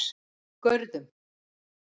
Görðum